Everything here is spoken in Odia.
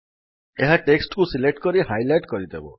ଏହା ଟେକ୍ସଟ୍ କୁ ସିଲେକ୍ଟ କରି ହାଇଲାଇଟ୍ କରିଦେବ